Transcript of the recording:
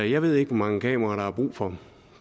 jeg ved ikke hvor mange kameraer der er brug for